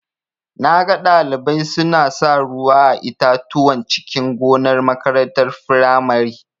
Naga Ɗalibai suna sa ruwa a itatuwan cikin gonar makarantar firamare.